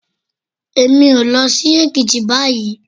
Èmi ò lọ sí Èkìtì báyìí.